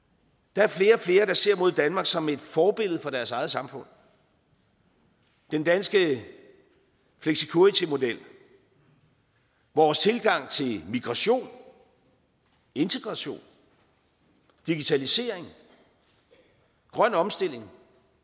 der er flere og flere der ser mod danmark som et forbillede for deres eget samfund den danske flexicuritymodel vores tilgang til migration integration digitalisering grøn omstilling